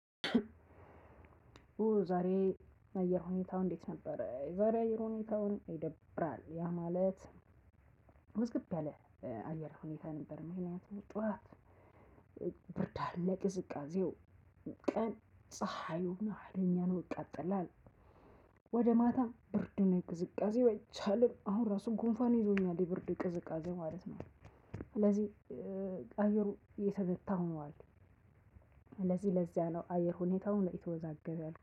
ኡ! ዛሬ የአየር ሁኔታው እንዴት ነበረ? የዛሬ የአየር ሁኔታ ይደብራል። ያ ማለት ውዝግብ ያለ የአየር ሁኔታ ነበር ምክንያቱም ጠዋት ብርድ አለ ቅዝቃዜው፣ ቀን ፀሀዩ ሀይለኛ ነው ያቃጥላል፣ ወደ ማታ ብርድ እና ቅዝቃዜው አይቻልም አሁን ራሱ ጉንፋን ይዞኛል የብርዱ ቅዝቃዜ ማለት ነው። ስለዚህ አየሩ የተመታ ነው ማለት ነው፣ ስለዚህ ለዛ ነው የአየር ሁኔታው የተወዛገበ ነው።